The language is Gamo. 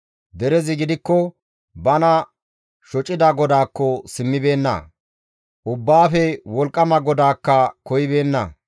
Derezi gidikko bana shocida GODAAKKO simmibeenna; Ubbaafe Wolqqama GODAAKKA koyibeenna.